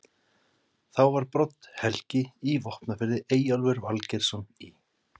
Þá var Brodd-Helgi í Vopnafirði, Eyjólfur Valgerðarson í